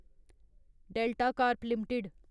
delta Corp limited